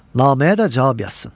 Naməyə də cavab yazsın.